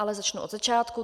Ale začnu od začátku.